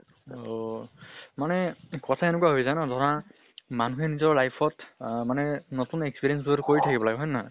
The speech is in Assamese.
অʼ । কথা এনেকুৱা হয় জানা ধৰা মানুহে নিজৰ life ত আহ মানে নতুন experience কৰু থাকিব লাগে, হয় নে নহয়?